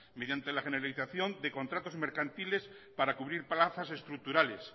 mediante la generalización de contratos mercantiles para cubrir plazas estructurales